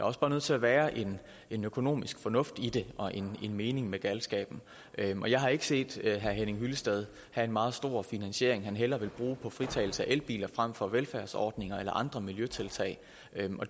også bare nødt til at være en en økonomisk fornuft i det og en mening med galskaben og jeg har ikke set herre henning hyllested have en meget stor finansiering han hellere vil bruge på fritagelse af elbiler frem for velfærdsordninger eller andre miljøtiltag